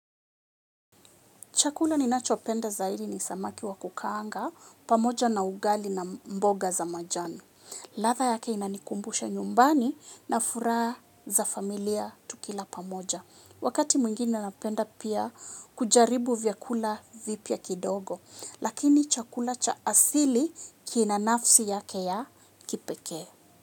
Chakula ninachopenda zaidi ni samaki wa kukaanga pamoja na ugali na mboga za majani. Ladha yake inanikumbusha nyumbani na furaha za familia tukila pamoja. Wakati mwingine napenda pia kujaribu vyakula vipya kidogo. Lakini chakula cha asili kina nafsi yake ya kipekee.